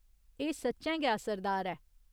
एह् सच्चैं गै असरदार ऐ।